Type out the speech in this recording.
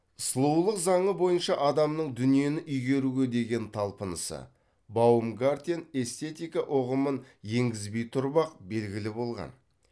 сұлулық заңы бойынша адамның дүниені игеруге деген талпынысы баумгартен эстетика ұғымын енгізбей тұрып ақ белгілі болған